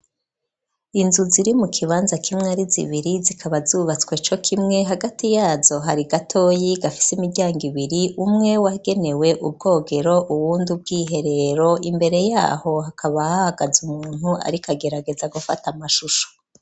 Inzu ziri mu kibanza kimwe ari zibiri zikaba zubatswe cokimwe hagati yazo hari gatoyi gafise imiryango ibiri umwe wagenewe ubwogero uwundi ubw'iherero imbere yaho hakaba hahagaza umuntu ariko agerageza gufata amashusho